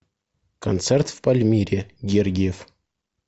концерт в пальмире гергиев